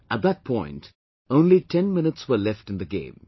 At that point, only 10 minutes were left in the game